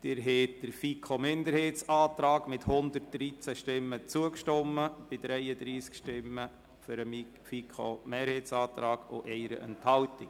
Sie haben dem FiKo-Minderheitsantrag mit 113 Stimmen zugestimmt bei 33 Stimmen für den FiKo-Mehrheitsantrag und 1 Enthaltung.